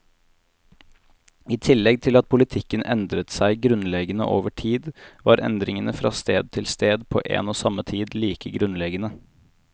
I tillegg til at politikken endret seg grunnleggende over tid, var endringene fra sted til sted på en og samme tid like grunnleggende.